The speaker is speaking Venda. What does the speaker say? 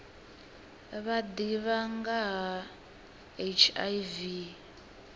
vha ḓivha nga ha hiv